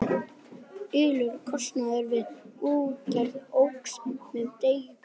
Allur kostnaður við útgerð óx með degi hverjum.